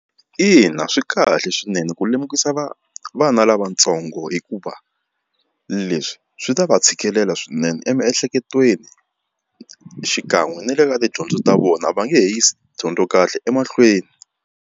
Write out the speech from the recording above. Ina swi kahle swinene ku lemukisa vana lavatsongo hikuva leswi swi ta va tshikelela swinene emiehleketweni xikan'we na le ka tidyondzo ta vona va nge he yisi dyondzo kahle emahlweni.